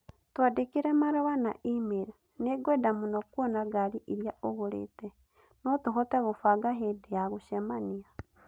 Twandĩkĩre marũa na e-mail. Nĩngwenda mũno kuona ngaari ĩrĩa ũgũrĩte. No tũhote kũbanga hĩndĩ ya gũcemania.